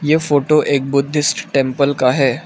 यह फोटो एक Buddhist temple का है।